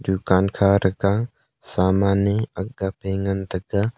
dukan kha tega saman e akgape ngan taiga.